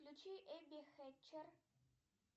включи эбби хэтчер